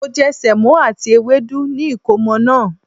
Mo je Sèmó àti ewédú ni ìkómo naa